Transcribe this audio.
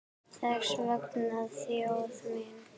Þess vegna þjóð mín!